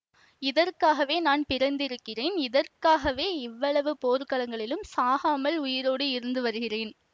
இதற்காகவே நான் பிறந்திருக்கிறேன் இதற்காகவே இவ்வளவு போர்க்களங்களிலும் சாகாமல் உயிரோடு இருந்து வருகிறேன்